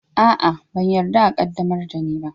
A'a, ban yarda a qaddamar da ni ba